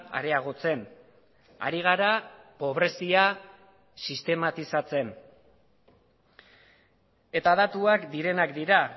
areagotzen ari gara pobrezia sistematizatzen eta datuak direnak dira